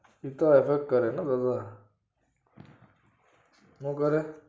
એ તો હસ હસ કરે ને ભગવાન હું કરે?